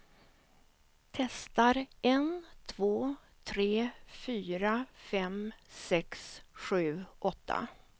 Testar en två tre fyra fem sex sju åtta.